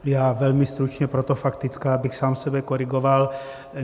Já velmi stručně, proto faktická, abych sám sebe korigoval.